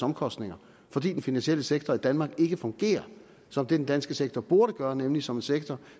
omkostninger fordi den finansielle sektor i danmark ikke fungerer som den danske finansielle sektor burde gøre nemlig som en sektor